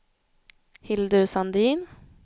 Hildur Sandin